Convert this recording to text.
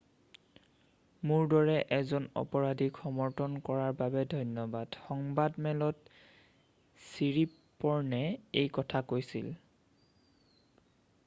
"""মোৰ দৰে এজন অপৰাধীক সমৰ্থন কৰাৰ বাবে ধন্যবাদ," সংবাদমেলত ছিৰিপ'ৰ্ণে এই কথা কৈছিল।""